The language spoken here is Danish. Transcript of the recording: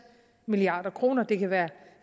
milliard kroner det kan være